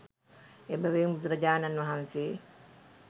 එබැවින් බුදුරජාණන් වහන්සේ